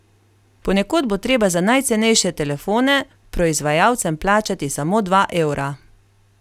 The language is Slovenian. Ponekod bo treba za najcenejše telefone proizvajalcem plačati samo dva evra.